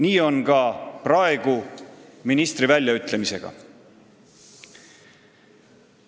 Nii on ka praegu ministri väljaütlemisega.